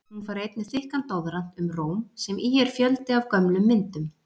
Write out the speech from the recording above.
Hún fær einnig þykkan doðrant um Róm, sem í er fjöldi af gömlum myndum.